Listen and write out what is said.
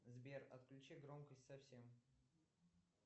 сбер отключи громкость совсем